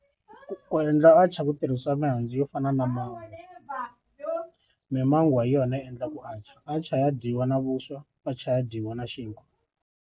Ku endla atchar ku tirhisiwa mihandzu yo fana na mimangwa hi yona yi endlaku atchar atchar ya dyiwa na vuswa atchar ya dyiwa na xinkwa.